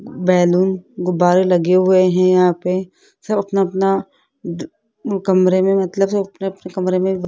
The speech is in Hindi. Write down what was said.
बैलून गुब्बारे लगे हुए हैं यहां पे सब अपना अपना कमरे में मतलब सब अपने अपने कमरे में --